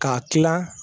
K'a kilan